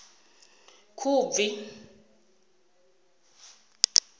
khubvi